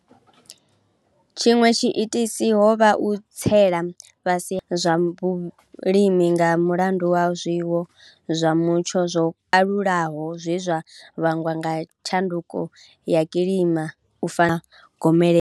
Tshiṅwe tshiitisi ho vha u tsela fhasi ha zwibveledzwa zwa vhulimi nga mulandu wa zwiwo zwa mutsho zwo kalulaho zwe zwa vhangwa nga tshanduko ya kilima u fana na miḓalo na gomelelo.